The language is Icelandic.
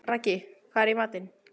Raggi, hvað er í matinn?